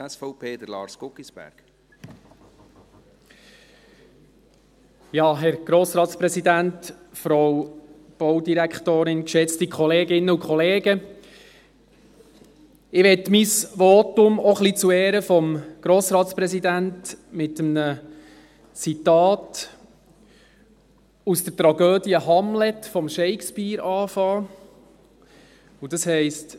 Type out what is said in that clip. Ich möchte mein Votum, auch ein bisschen zu Ehren unseres Grossratspräsidenten, mit einem Zitat aus der Tragödie Hamlet von Shakespeare beginnen und dieses heisst: